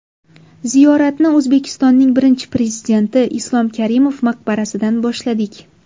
Ziyoratni O‘zbekistonning Birinchi Prezidenti Islom Karimov maqbarasidan boshladik.